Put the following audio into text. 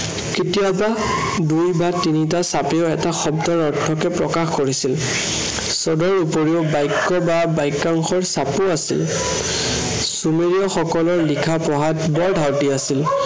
কেতিয়াবা দুই বা তিনিটা চাপেও এটা শব্দৰ অৰ্থকে প্ৰকাশ কৰিছিল। পদৰ উপৰিও বাক্য় বা বক্য়াংশৰ চাপো আছিল। চোমেৰিয় সকলৰ লিখা পঢ়াত বৰ ধাউতি আছিল।